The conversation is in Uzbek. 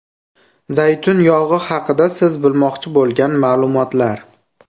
Zaytun yog‘i haqida siz bilmoqchi bo‘lgan ma’lumotlar.